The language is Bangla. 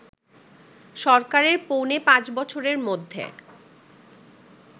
সরকারের পৌনে পাঁচ বছরের মধ্যে